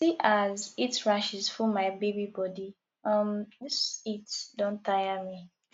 see as heat rashes full my baby bodi um dis heat don tire me